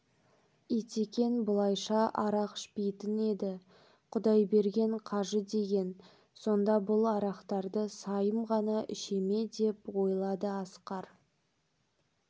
итекең бұлайша арақ ішпейтін еді құдайберген қажы деген сонда бұл арақтарды сайым ғана іше ме деп ойлады асқар